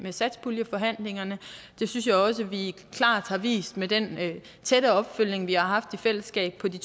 i satspuljeforhandlingerne det synes jeg også vi klart har vist med den tætte opfølgning vi har haft i fællesskab på de